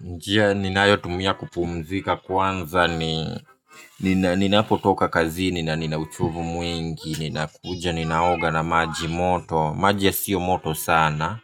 Njia ninayo tumia kupumzika kwanza ni ninapo toka kazini na nina uchovu mwingi. Ninakuja ninaoga na maji moto, maji ya siyo moto sana.